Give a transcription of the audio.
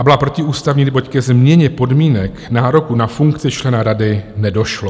A byla protiústavní, neboť ke změně podmínek nároku na funkci člena rady nedošlo.